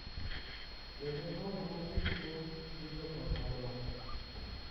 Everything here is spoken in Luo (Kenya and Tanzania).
Kendo paro ma ji nigo gi jo ot madongo,